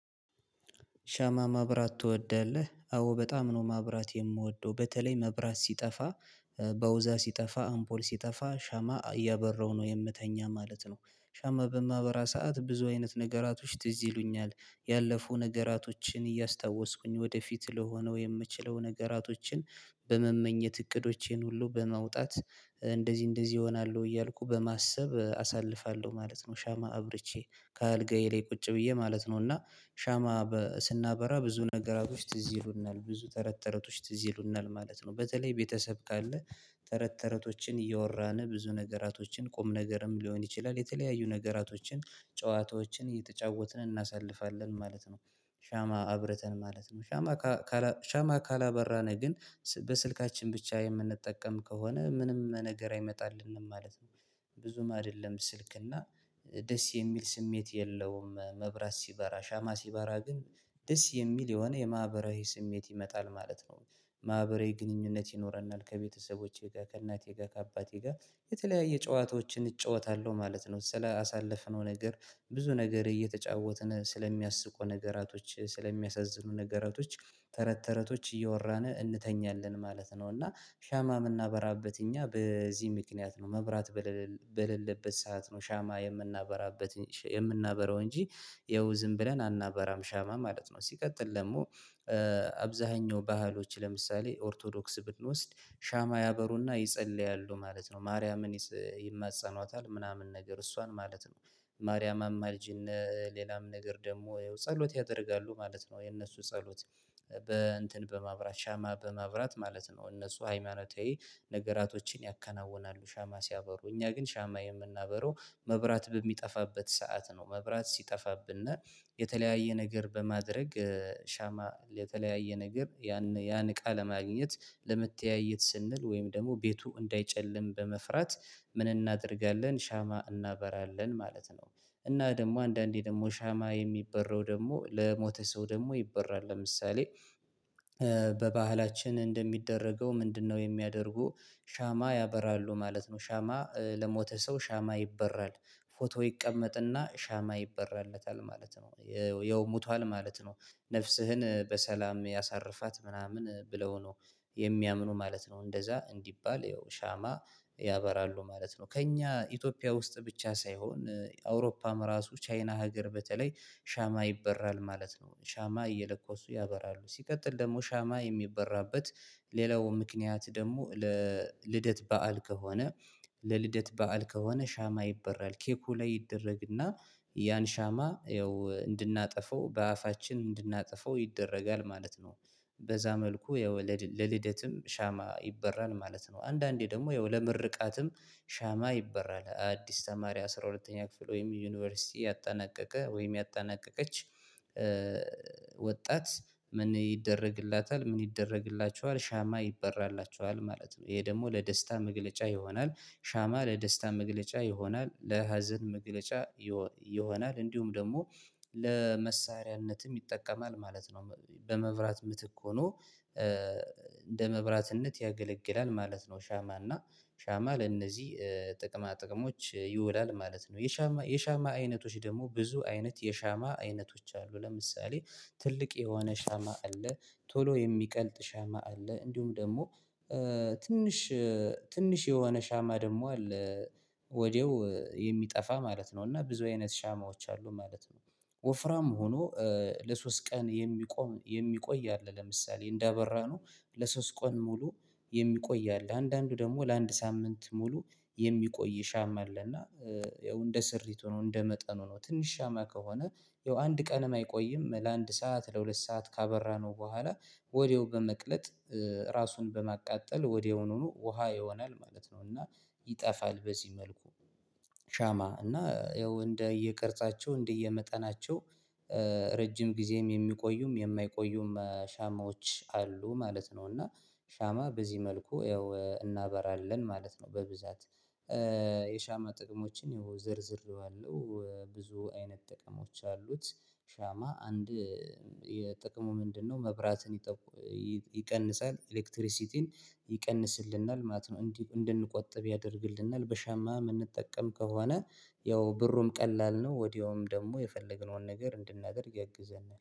ሻማ ማብራት ትወዳለህ? አዎ በጣም ነው ማብራት የምወደው በተለይ መብራት ሲጠፋ በውዛ ሲጠፋ አምፖል ሲጠፋ ሻማ እያበራው ነው የምተኛ ማለት ነው። ሻማ በማህበራ ሰዓት ብዙ አይነት ነገራቶች ትዝ ይሉኛል ያለፉ ነገራቶችን እያስታወስኩኝ ወደፊት ለሆነው የምችለው ነገራቶችን በመመኘት እቅዶቼን ሁሉ በማውጣት እንደዚህ እንደዚህ እሆናለሁ እያልኩ በማሰብ አሳልፋለሁ ማለት ነው። ሻማ አብርቼ ከአልጋዬ ላይ ቁጭ ብዬ ማለት ነው። እና ሻማ ስናበራ ብዙ ነገራቶች ትዝ ይሉናል ብዙ ተረት ተረቶች ትዝ ይሉናል ማለት ነው። በተለይ ቤተሰብ ካለ ተረት ተረቶችን እየወራን ብዙ ነገራቶችን ቁም ነገርም ሊሆን ይችላል የተለያዩ ነገራቶችን ጨዋታዎችን እየተጫወትን እናሳልፋለን ማለት ነው። ሻማ አብረተን ማለት ነው ሻማ ሻማ ካላበራነህ ግን በስልካችን ብቻ የምንጠቀም ከሆነ ምንም ነገር አይመጣልንም ማለት ነው። ብዙም አይደለም ስልክ እና ደስ የሚል ስሜት የለውም መብራት ሲበራ ሻማ ሲበራ ግን ደስ የሚል የሆነ የማህበራዊ ስሜት ይመጣል ማለት ነው። ማህበራዊ ግንኙነት ይኖረናል ከቤተሰቦቼ ጋር ከእናቴ ጋር ከአባቴ ጋር የተለያየ ጨዋታዎችን እጫወታለሁ ማለት ነው። ስለ አሳለፍነው ነገር ብዙ ነገር እየተጫወትን ስለሚያስቁ ነገራቶች ስለሚያሳዝኑ ነገራቶች ተረት ተረቶች እየወራን እንተኛለን ማለት ነው። እና ሻማ የምናበራበት እኛ በዚህ ምክንያት ነው መብራት በሌለበት ሰዓት ነው ሻማ የምናበራበት የምናበራው እንጂ ይኸው ዝም ብለን አናበራም ሻማ ማለት ነው። ሲቀጥል ደግሞ አብዛኛው ባህሎች ለምሳሌ ኦርቶዶክስ ብንወስድ ሻማ ያበሩና ይጸልያሉ ማለት ነው። ማርያምን ይማጸኗታል ምናምን ነገር እሷን ማለት ነው። ማርያም አማልጂነ ሌላም ነገር ደግሞ ጸሎት ያደርጋሉ ማለት ነው። የነሱ ጸሎት በ እንትን በማብራት ሻማ በማብራት ማለት ነው እነሱ ሃይማኖታዊ ነገራቶችን ያከናውናሉ። ሻማ ሲያበሩ እኛ ግን ሻማ የምናበረው መብራት በሚጠፋበት ሰዓት ነው። መብራት ሲጠፋብነ የተለያየ ነገር በማድረግ ሻማ የተለያየ ነገር ያን ያን እቃ ለማግኘት ለመተያየት ስንል ወይም ደግሞ ቤቱ እንዳይጨልም በመፍራት ምን እናደርጋለን ሻማ እናበራለን ማለት ነው። እና ደግሞ አንዳንዴ ደግሞ ሻማ የሚበረው ደግሞ ለሞተ ሰው ደግሞ ይበራል። ለምሳሌ በባህላችን እንደሚደረገው ምንድነው የሚያደርጉ? ሻማ ያበራሉ ማለት ነው ሻማ ለሞተ ሰው ሻማ ይበራል ፎቶ ይቀመጥና ሻማ ይበራለታል ማለት ነው። የውሙቷል ማለት ነው ነፍስህን በሰላም ያሳርፋት ምናምን ብለው ነው የሚያምኑ ማለት ነው። እንደዛ እንዲባል ያው ሻማ ያበራሉ ማለት ነው። ከእኛ ኢትዮጵያ ውስጥ ብቻ ሳይሆን አውሮፓም ራሱ ቻይና ሀገር በተለይ ሻማ ይበራል ማለት ነው። ሻማ እየለኮሱ ያበራሉ ሲቀጥል ደግሞ ሻማ የሚበራበት ሌላው ምክንያት ደግሞ ለልደት በዓል ከሆነ ለልደት በዓል ከሆነ ሻማ ይበራል ኬኩ ላይ ይደረግና ያን ሻማ ያው እንድናጠፋው በአፋችን እንድናጠፋው ይደረጋል ማለት ነው። በዛ መልኩ የወለድ ለልደትም ሻማ ይበራል ማለት ነው። አንዳንዴ ደግሞ የወለመርቃትም ሻማ ይበራል አዲስ ተማሪ አስራ ሁለተኛ ክፍል ወይም ዩኒቨርሲቲ ያጠናቀቀ ወይም ያጠናቀቀች ወጣት ምን ይደረግላታል? ምን ይደረግላችኋል? ሻማ ይበራላችኋል ማለት ነው። ይሄ ደግሞ ለደስታ መግለጫ ይሆናል ሻማ ለደስታ መግለጫ ይሆናል ለሀዘን መግለጫ ይሆናል እንዲሁም ደግሞ ለመሳሪያነትም ይጠቀማል ማለት ነው። በመብራት ምትክ ሆኖ እንደ መብራትነት ያገለግላል ማለት ነው። ሻማ እና ሻማ ለእነዚህ ጥቅማ ጥቅሞች ይውላል ማለት ነው። የሻማ የሻማ አይነቶች ደግሞ ብዙ አይነት የሻማ አይነቶች አሉ። ለምሳሌ ትልቅ የሆነ ሻማ አለ። ቶሎ የሚቀልጥ ሻማ አለ። እንዲሁም ደግሞ ትንሽ ትንሽ የሆነ ሻማ ደግሞ አለ። ወዲያው የሚጠፋ ማለት ነው እና ብዙ አይነት ሻማዎች አሉ ማለት ነው። ወፍራም ሆኖ ለሶስት ቀን የሚቆይ የሚቆይ አለ ለምሳሌ እንዳበራነው ለሶስት ቀን ሙሉ የሚቆይ አለ። አንዳንዱ ደግሞ ለአንድ ሳምንት ሙሉ የሚቆይ ሻማ አለ። እና ያው እንደ ስሪት ሆኖ እንደ መጠኑ ሆኖ ትንሽ ሻማ ከሆነ ያው አንድ ቀን አይቆይም ለአንድ ሰዓት ለሁለት ሰዓት ካበራነው በኋላ ወዲያው በመቅለጥ ራሱን በማቃጠል ወዲያውኑ ውሃ ይሆናል ማለት ነው። እና ይጠፋል። በዚህ መልኩ ሻማ እና ያው እንደ እየቀረጻቸው እንደ እየመጠናቸው ረጅም ጊዜም የሚቆዩም የማይቆዩም ሻማዎች አሉ ማለት ነው። እና ሻማ በዚህ መልኩ ያው እናበራለን ማለት ነው። በብዛት የሻማ ጥቅሞችን ይሄው ዘርዝሬዋለሁ ብዙ አይነት ጥቅሞች አሉት። ሻማ አንድ የጥቅሙ ምንድነው? መብራትን ይቀንሳል ኤሌክትሪሲቲን ይቀንስልናል ማለት ነው። እንድንቆጥብ ያደርግልናል በሻማ የምንጠቀም ከሆነ ያው ብሩም ቀላል ነው። ወዲያውም ደግሞ የፈለግነውን ነገር እንድናገር ያግዘናል